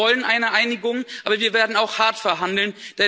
Wir wollen eine Einigung, aber wir werden auch hart verhandeln.